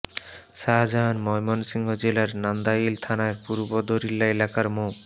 শাহজাহান ময়মনসিংহ জেলার নান্দাইল থানার পূর্ব দরিল্লা এলাকার মো